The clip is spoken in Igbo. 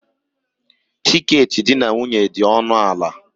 Tiketi di na nwunye dị ọnụ ala.